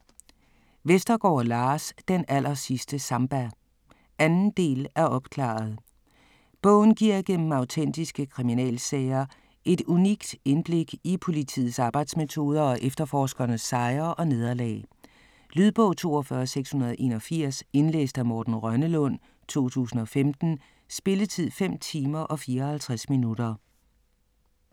Vestergaard, Lars: Den allersidste samba 2. del af Opklaret!. Bogen giver gennem autentiske kriminalsager et unikt indblik i politiets arbejdsmetoder og efterforskernes sejre og nederlag. Lydbog 42681 Indlæst af Morten Rønnelund, 2015. Spilletid: 5 timer, 54 minutter.